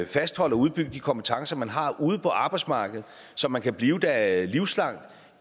fastholdt og udbygget de kompetencer man har ude på arbejdsmarkedet så man kan blive der livslangt